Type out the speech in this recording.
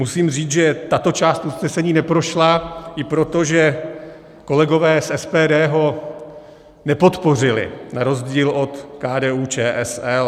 Musím říct, že tato část usnesení neprošla i proto, že kolegové z SPD ho nepodpořili, na rozdíl od KDU-ČSL.